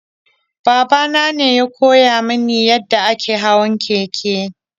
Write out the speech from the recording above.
Baba nane ya koya mini yadda ake hawan keke.